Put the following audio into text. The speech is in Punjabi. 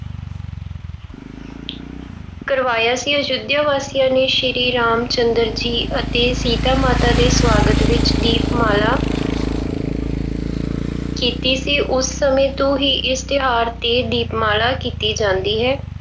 ਕਰਵਾਇਆ ਸੀ। ਅਯੁੱਧਿਆ ਵਾਸੀਆਂ ਨੇ ਸ਼੍ਰੀ ਰਾਮ ਚੰਦਰ ਜੀ ਅਤੇ ਸੀਤਾ ਮਾਤਾ ਦੇ ਸਵਾਗਤ ਵਿੱਚ ਦੀਪਮਾਲਾ ਕੀਤੀ ਸੀ। ਉਸ ਸਮੇਂ ਤੋਂ ਇਸ ਤਿਉਹਾਰ ਤੇ ਦੀਪਮਾਲਾ ਕੀਤੀ ਜਾਂਦੀ ਹੈ।